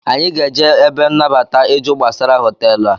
Anyị ga-eje ebe nabata ịjụ gbasara hoteelu a